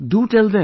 Do tell them